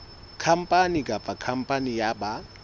khampani kapa khampani ya ba